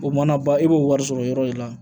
O mana ban e b'o wari sɔrɔ yɔrɔ de la